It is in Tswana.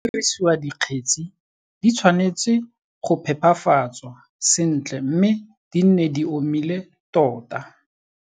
Fa go dirisiwa dikgetsi, di tshwanetse go phepafatswa sentle mme di nne di omile tota.